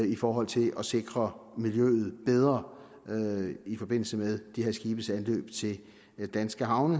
i forhold til at sikre miljøet bedre i forbindelse med de her skibes anløb af danske havne